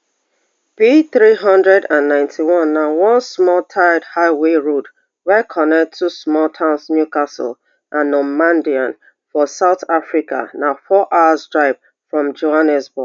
pthree hundred and ninety-one na one small tarred highway road wey connect two small towns newcastle and normandein for south africa na four hours drive from johannesburg